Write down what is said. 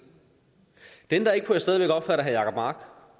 det ændrer ikke på at jeg stadig væk opfatter herre jacob mark